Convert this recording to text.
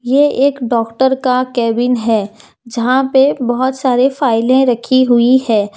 ये एक डॉक्टर का केबिन है जहां पे बहोत सारे फाइलें रखी हुई है।